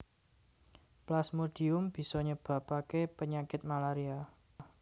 Plasmodium bisa nyebabaké penyakit malaria